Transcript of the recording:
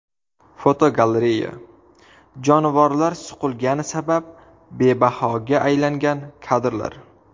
Fotogalereya: Jonivorlar suqilgani sabab bebahoga aylangan kadrlar.